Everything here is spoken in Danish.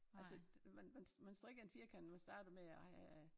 Altså man man man strikker en firkant man starter med ej øh